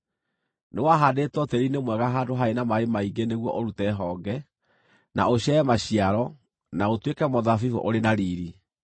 Nĩwahaandĩtwo tĩĩri-inĩ mwega handũ harĩ na maaĩ maingĩ nĩguo ũrute honge, na ũciare maciaro, na ũtuĩke mũthabibũ ũrĩ na riiri.’